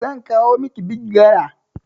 Zan kawo miki bigi gala